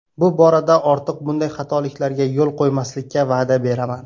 Bu borada ortiq bunday xatoliklarga yo‘l qo‘ymaslikka va’da beraman.